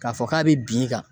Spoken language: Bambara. K'a fɔ k'a be bin e kan